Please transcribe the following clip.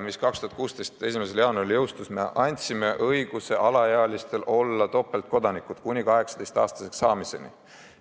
mis 2016. aasta 1. jaanuaril jõustus, alaealistele õiguse olla nn topeltkodanikud kuni 18-aastaseks saamiseni.